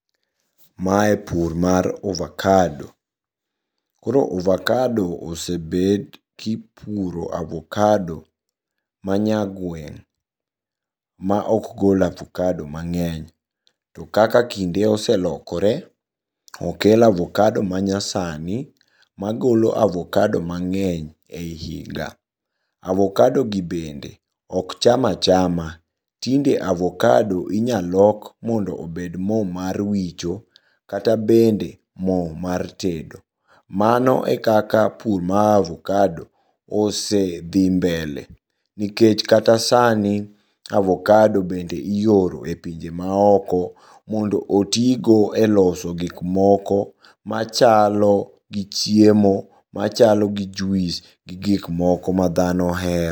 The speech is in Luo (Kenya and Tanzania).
Mae pur mar ovacado, koro ovacado osebed kipuro avocado manyagweng' maok gol avocado mang'eny ,to kaka kinde oselokore okel avocado manyasani magolo avocado mang'eny ei higa. Avocadogi bende okcham achama, tinde avocado inyalok mondo obed mo mar wicho, kata bende mo mar tedo. Mano e kaka pur mar avocado osedhi mbele, nikech kata sani avocado bende ioro e pinje maoko mondo otigo e loso gikmoko machalo gi chiemo, machalo gi juis gi gikmoko madhano ohero.